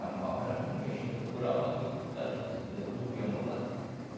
A malva era ruim, ia furar a barriga do cara, porque aquilo é duro e amolado.